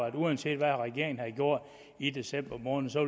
at der uanset hvad regeringen havde gjort i december måned så